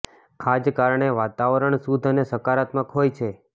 આ જ કારણે વાતાવરણ શુદ્ધ અને સકારાત્મક હોય છે